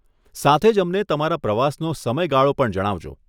સાથે જ અમને તમારા પ્રવાસનો સમયગાળો પણ જણાવજો.